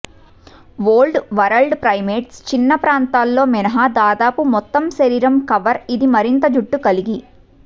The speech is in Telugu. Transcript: ఓల్డ్ వరల్డ్ ప్రైమేట్స్ చిన్న ప్రాంతాల్లో మినహా దాదాపు మొత్తం శరీరం కవర్ ఇది మరింత జుట్టు కలిగి